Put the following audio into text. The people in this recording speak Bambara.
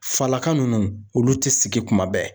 Falaka nunnu olu tɛ sigi kuma bɛɛ.